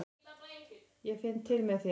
Ég finn til með þér.